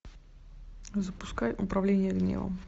запускай управление гневом